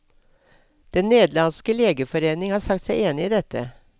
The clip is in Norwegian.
Den nederlandske legeforening har sagt seg enig i dette.